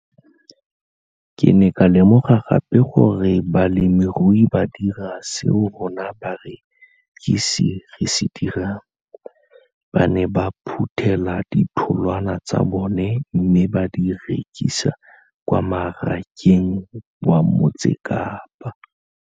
Ke ne ka lemoga gape gore balemirui ba dira seo rona barekisi re se dirang, ba ne ba phuthela ditholwana tsa bona mme ba di rekisa kwa marakeng wa Motsekapa.